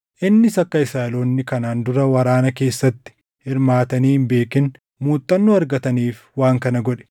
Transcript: innis akka Israaʼeloonni kanaan dura waraana keessatti hirmaatanii hin beekin muuxannoo argataniif waan kana godhe;